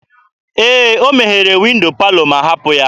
Ee, ọ meghere windo palọ ma hapụ ya.